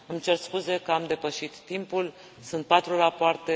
Îmi cer scuze că am depășit timpul, sunt patru rapoarte.